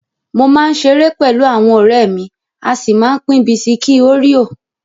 Mo máa ń ṣeré pẹlú àwọn ọ̀rẹ́ mi, a sì máa ń pín bisikí óríò.